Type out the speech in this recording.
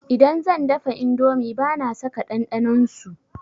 Idan zan dafa indomi bana saka ɗanɗanon su.